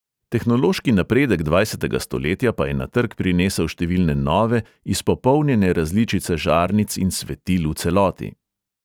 Tehnološki napredek dvajsetega stoletja pa je na trg prinesel številne nove, izpopolnjene različice žarnic in svetil v celoti.